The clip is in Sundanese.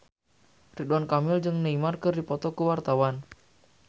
Ridwan Kamil jeung Neymar keur dipoto ku wartawan